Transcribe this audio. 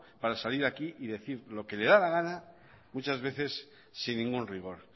para salir aquí y decir lo que le da la gana muchas veces sin ningún rigor